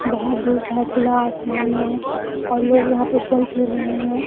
बहोत धूप है खुला आसमान है और लोग यहाँ पर चल फिर रहे हैं।